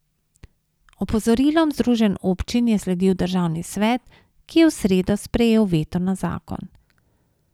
Opozorilom združenj občin je sledil državni svet, ki je v sredo sprejel veto na zakon.